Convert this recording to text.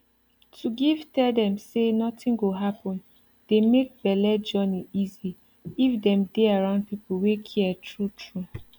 to give tell dem say nothing go happen dey make bele journey easy if dem dey around people wey care true true